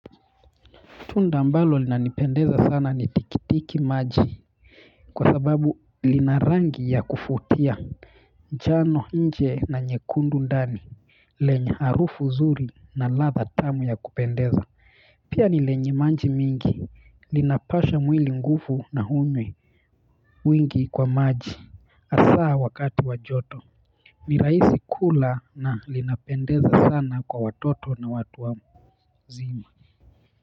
Tunda ambalo linanipendeza sana ni tikitiki maji kwa sababu lina rangi ya kuvutia jano nje na nyekundu ndani lenye harufu nzuri na ladha tamu ya kupendeza pia ni lenye maji mingi linapasha mwili nguvu na uume mwingi kwa maji hasaa wakati wa joto ni rahisi kula na linapendeza sana kwa watoto na watu wazima.